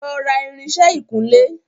Lọ ra irinsẹ́ ìkunlé!